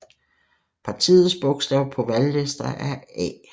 Partiets bogstav på valglister er A